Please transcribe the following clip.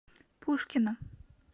пушкина